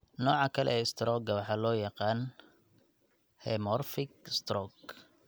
Nooca kale ee istaroogga waxaa loo yaqaan 'hemorrhagic stroke'.